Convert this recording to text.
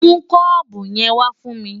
Mú kọ́ọ̀bù yẹn wá fún mi!